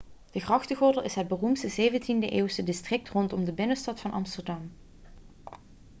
de grachtengordel is het beroemde 17e-eeuwse district rondom de binnenstad van amsterdam